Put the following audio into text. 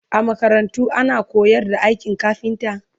a makarantarku ana koyar da aikin kafinta?